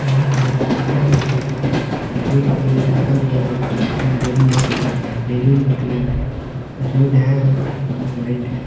यहां पर एक शीशा का गेट है और गेट के अगल बगल में बैलून लगे हुए हैं बैलून के कलर रेड है व्हाइट है।